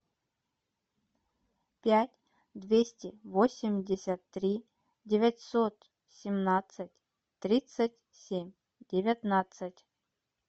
пять двести восемьдесят три девятьсот семнадцать тридцать семь девятнадцать